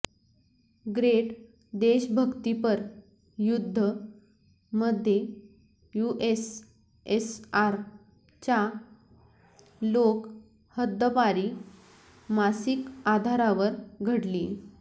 great देशभक्तीपर युद्ध मध्ये युएसएसआर च्या लोक हद्दपारी मासिक आधारावर घडली